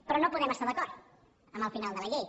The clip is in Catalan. però no podem estar d’acord amb el final de la llei